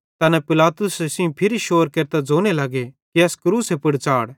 तैना पिलातुसे सेइं फिरी शोर केरतां ज़ोने लग्गे कि एस क्रूसे पुड़ च़ाढ़